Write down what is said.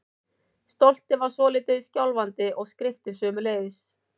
Stoltið var svolítið skjálfandi- og skriftin sömuleiðis.